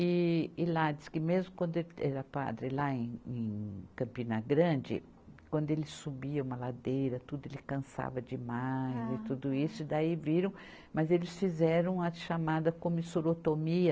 E, e lá, diz que mesmo quando ele era padre, lá em, em Campina Grande, quando ele subia uma ladeira, tudo, ele cansava demais e tudo isso, e daí viram, mas eles fizeram a chamada comissurotomia.